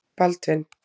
Baldvin